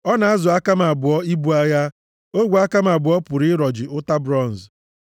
Ọ na-azụ aka m abụọ ibu agha, ogwe aka m abụọ pụrụ ịrọji ụta bronz.